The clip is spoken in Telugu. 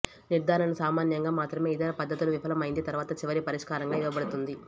నిర్ధారణ సామాన్యంగా మాత్రమే ఇతర పద్ధతులు విఫలమైంది తర్వాత చివరి పరిష్కారంగా ఇవ్వబడుతుంది